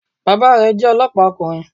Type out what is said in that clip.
Bàbá rẹ̀ jẹ́ olọ́pàá ọkùnrin